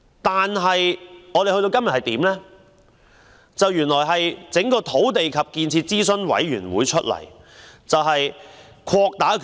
但是，政府委任新一屆土地及建設諮詢委員會，擴大其權力。